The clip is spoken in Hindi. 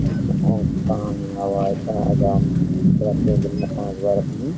पानी हवा एतना आजाम प्रतिदिन दिन में पांच बार अपनी --